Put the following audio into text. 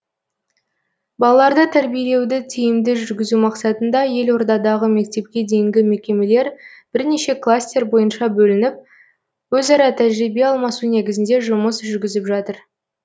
балаларды тәрбиелеуді тиімді жүргізу мақсатында елордадағы мектепке дейінгі мекемелер бірнеше кластер бойынша бөлініп өзара тәжірибе алмасу негізінде жұмыс жүргізіп жатыр